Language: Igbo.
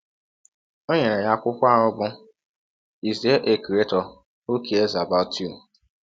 O nyere ya akwụkwọ aha bụ́ Is There a Creator Who Cares About You?